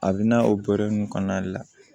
A bɛ na o kɔnɔna de la